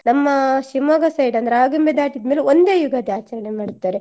ನಮ್ಮ ಶಿವಮೊಗ್ಗ side ಅಂದ್ರೆ ಆಗುಂಬೆ ದಾಟಿದ್ಮೇಲೆ ಒಂದೇ ಯುಗಾದಿ ಆಚರಣೆ ಮಾಡ್ತಾರೆ